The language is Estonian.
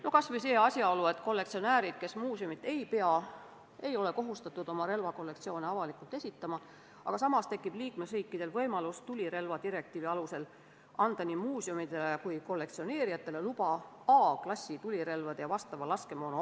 No kas või see asjaolu, et kollektsionäärid, kes muuseumit ei pea, ei ole kohustatud oma relvakollektsioone avalikult esitlema, samas tekib liikmesriikidel võimalus anda tulirelvadirektiivi alusel nii muuseumidele kui ka kollektsionääridele luba omandada A-klassi tulirelvi ja vastavat laskemoona.